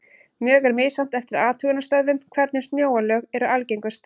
Mjög er misjafnt eftir athugunarstöðvum hvernig snjóalög eru algengust.